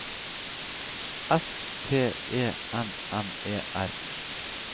S T E M M E R